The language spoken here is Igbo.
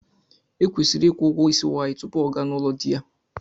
Ekwesiri ịkwụ ụgwọ isi nwaanyị tupu ọ gaa n'ụlọ di ya.